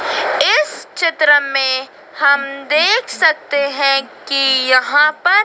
इस चित्र में हम देख सकते हैं कि यहां पर--